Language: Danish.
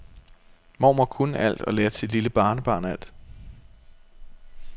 Mormor kunne alt og lærte sit lille barnebarn alt.